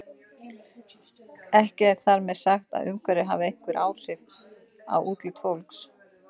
Ekki er þar með sagt að umhverfið hafi engin áhrif á útlit fólks.